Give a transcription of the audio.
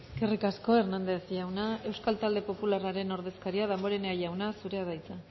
eskerrik asko hernández jauna euskal talde popularraren ordezkaria damborenea jauna zurea da hitza